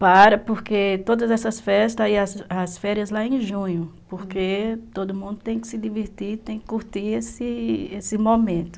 Para, porque todas essas festas e as férias lá em junho, porque todo mundo tem que se divertir, tem que curtir esse esse momento.